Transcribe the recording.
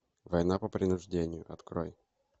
война по принуждению открой